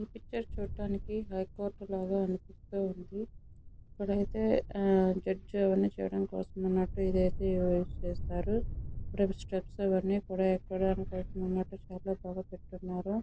ఈ పిక్చర్ చూడడానికా హైకోర్టు లాగా అనిపిస్తుంది. ఒకవేళ జడ్జి లు అందరూ వస్తున్నట్టు స్టెప్స్ అవన్నీ కూడా ఎక్కడానికి చాలా పెట్టినట్టు ఉన్నారు.